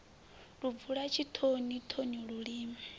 lu bvula tshitoni thoni lulimi